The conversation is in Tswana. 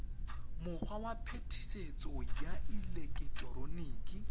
mokgwa wa phetisetso ya ileketeroniki